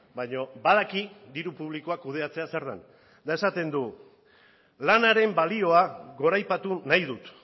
baina badaki diru publikoa kudeatzea zer den eta esaten du lanaren balioa goraipatu nahi dut